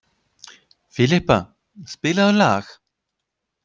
Filippa, spilaðu lag.